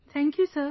Thank you sir